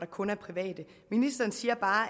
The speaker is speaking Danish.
kun er private ministeren siger bare